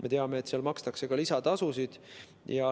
Me teame, et seal makstakse ka lisatasusid.